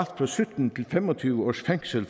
fra sytten til fem og tyve års fængsel